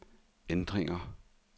ændringer